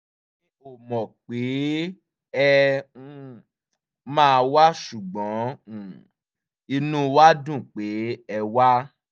mi ò mọ̀ pé ẹ um máa wá ṣùgbọ́n um inú wa dùn pé ẹ wá